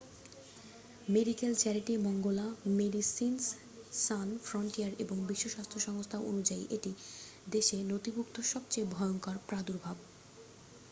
medical charity ম্যাঙ্গোলা Médecins Sans Frontières এবং বিশ্ব স্বাস্থ্য সংস্থা অনুযায়ী এটি দেশে নথিভুক্ত সবচেয়ে ভয়ঙ্কর প্রাদুর্ভাব